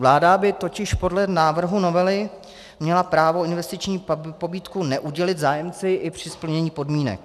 Vláda by totiž podle návrhu novely měla právo investiční pobídku neudělit zájemci i při splnění podmínek.